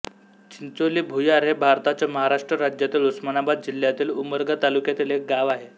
चिंचोली भुयार हे भारताच्या महाराष्ट्र राज्यातील उस्मानाबाद जिल्ह्यातील उमरगा तालुक्यातील एक गाव आहे